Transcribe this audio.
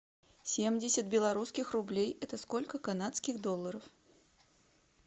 семьдесят белорусских рублей это сколько канадских долларов